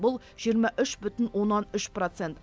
бұл жиырма үш бүтін оннан үш процент